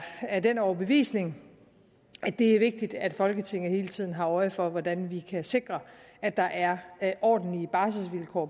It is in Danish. af den overbevisning at det er vigtigt at folketinget hele tiden har øje for hvordan vi kan sikre at der er ordentlige barselvilkår